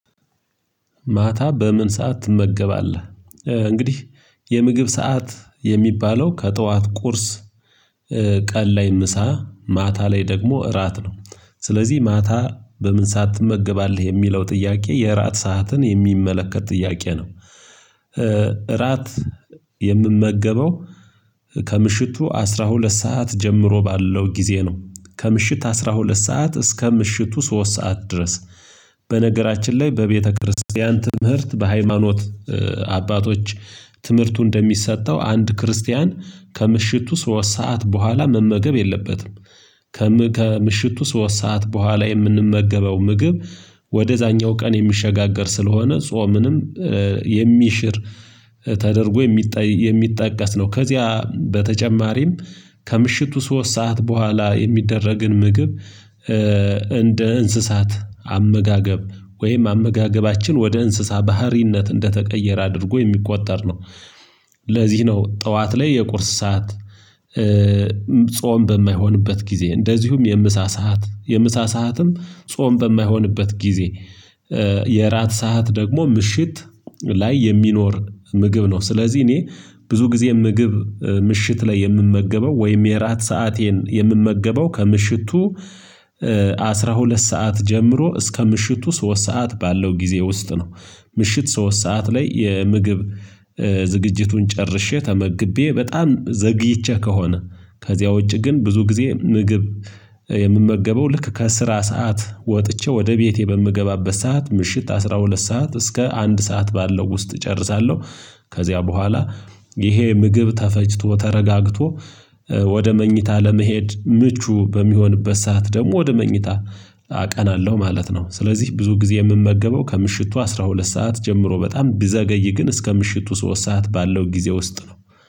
ማታ በምን ሰዓት ትመገባለህ እንግዲህ የምግብ ሰዓት የሚባለው ከጠዋት ቁርስ? ቀን ላይ ምሳ ማታ ላይ ደግሞ እራት ነው። ስለዚህ ማታ በምን ሰዓት ትመገባለህ የሚለው ጥያቄ የራት ሰዓትን የሚመለከት ጥያቄ ነው። ራት የምመገበው ከምሽቱ አስራ ሁለት ሰዓት ጀምሮ ባለው ጊዜ ነው። ከምሽት አስራ ሁለት ሰዓት እስከ ምሽቱ ሶስት ሰዓት ድረስ በነገራችን ላይ በቤተክርስቲያን ትምህርት በሃይማኖት አባቶች ትምህርቱ እንደሚሰጠው አንድ ክርስቲያን ከምሽቱ ሶስት ሰዓት በኋላ መመገብ የለበትም። ከምሽቱ ሶስት ሰዓት በኋላ የምንመገበው ምግብ ወደዛኛው ቀን የሚሸጋገር ስለሆነ ጾምንም የሚሽር ተደርጎ የሚጠቀስ ነው። ከዚያ በተጨማሪም ከምሽቱ ሶስት ሰዓት በኋላ የሚደረግን ምግብ እንደ እንስሳት አመጋገብ ወይም አመጋገባችን ወደ እንስሳ ባህሪነት እንደተቀየረ አድርጎ የሚቆጠር ነው። ለዚህ ነው ጠዋት ላይ የቁርስ ሰዓት። ጾም በማይሆንበት ጊዜ እንደዚሁም የምሳ ሰዓት የምሳ ሰዓትም ጾም በማይሆንበት ጊዜ። የእራት ሰዓት ደግሞ ምሽት ላይ የሚኖር ምግብ ነው። ስለዚህ እኔ ብዙ ጊዜ ምግብ ምሽት ላይ የምመገበው ወይም የራት ሰአቴን የምመገበው ከምሽቱ አስራ ሁለት ሰዓት ጀምሮ እስከ ምሽቱ ሶስት ሰዓት ባለው ጊዜ ውስጥ ነው። ምሽት ሶስት ሰዓት ላይ የምግብ ዝግጅቱን ጨርሼ ተመግቤ በጣም ዘግይቼ ከሆነ ከዚያ ውጪ ግን ብዙ ጊዜ ምግብ የምመገበው ልክ ከስራ ሰዓት ወጥቼ ወደ ቤቴ በምገባበት ሰዓት ምሽት አስራ ሁለት ሰዓት እስከ አንድ ሰዓት ባለው ውስጥ እጨርሳለሁ። ከዚያ በኋላ ይሄ ምግብ ተፈጭቶ ተረጋግቶ ወደ መኝታ ለመሄድ ምቹ በሚሆንበት ሰዓት ደግሞ ወደ መኝታ አቀናለሁ ማለት ነው። ስለዚህ ብዙ ጊዜ የምመገበው ከምሽቱ አስራ ሁለት ሰዓት ጀምሮ በጣም ቢዘገይ ግን እስከ ምሽቱ ሶስት ሰዓት ባለው ጊዜ ውስጥ ነው።